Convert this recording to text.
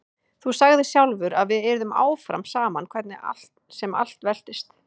Þú sagðir sjálfur að við yrðum áfram saman hvernig sem allt veltist.